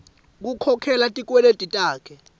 kukhokhela tikweleti takhe